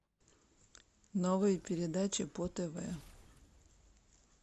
новые передачи по тв